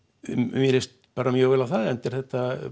mér líst bara mjög vel á það enda er þetta